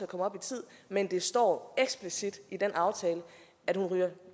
komme op i tid men det står eksplicit i den aftale at hun